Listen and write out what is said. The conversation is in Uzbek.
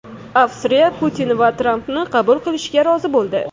Avstriya Putin va Trampni qabul qilishga rozi bo‘ldi.